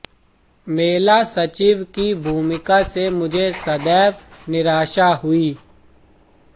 मेला सचिव की भूमिका से मुझे सदैव निराशा हुई